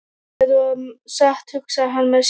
Þetta var satt, hugsaði hann með sér.